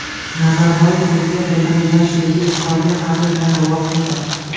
Nazarboyev o‘ziga bildirilgan sevgi izhoriga hazil bilan javob qildi.